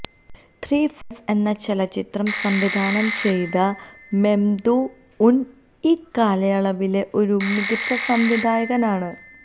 ത്രി friends എന്ന ചലച്ചിത്രം സംവിധാനം ചെയ്ത മെമ്ദു ഉൻ ഈ കാലയളവിലെ ഒരു മികച്ച സംവിധായകനാണ്